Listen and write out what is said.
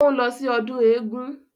Ó ń lọ sí ọdún eégún